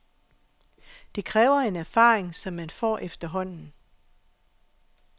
Det kræver en erfaring, som man får efterhånden.